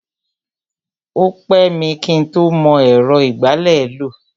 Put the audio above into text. O pẹ́ mi kí ń tó mọ ẹ̀rọ ìgbálẹ̀ lò.